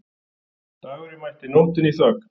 Dagurinn mætti nóttinni í þögn.